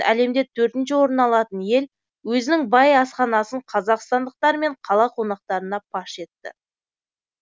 әлемде төртінші орын алатын ел өзінің бай асханасын қазақстандықтар мен қала қонақтарына паш етті